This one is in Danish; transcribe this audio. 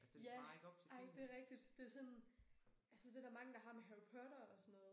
Ja ej det rigtigt det sådan altså det der mange der har med Harry Potter og sådan noget